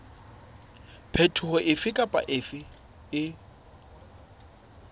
phetoho efe kapa efe e